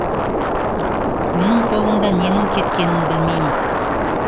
кімнің қолында ненің кеткенін білмейміз